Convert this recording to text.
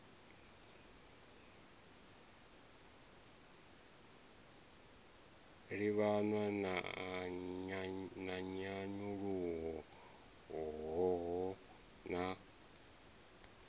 livhanywa na nyanyulaho hoho na